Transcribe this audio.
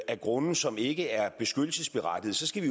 af grunde som ikke er beskyttelsesberettigede så skal